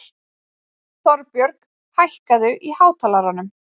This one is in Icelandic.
Þorbjörg, hækkaðu í hátalaranum.